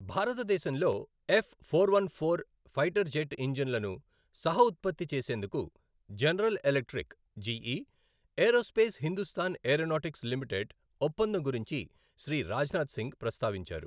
భారతదేశంలో F four one four fighter jet ఇంజిన్లను సహఉత్పత్తి చేసేందుకు General Electric GE Aerospace Hindustan Aeronautics Limited ఒప్పందం గురించి శ్రీ రాజ్నాథ్ సింగ్ ప్రస్తావించారు.